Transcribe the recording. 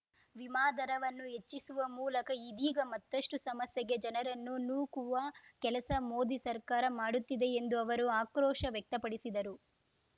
ವಿಮಾ ದರವನ್ನೂ ಹೆಚ್ಚಿಸುವ ಮೂಲಕ ಇದೀಗ ಮತ್ತಷ್ಟುಸಮಸ್ಯೆಗೆ ಜನರನ್ನು ನೂಕುವ ಕೆಲಸ ಮೋದಿ ಸರ್ಕಾರ ಮಾಡುತ್ತಿದೆ ಎಂದು ಅವರು ಆಕ್ರೋಶ ವ್ಯಕ್ತಪಡಿಸಿದರು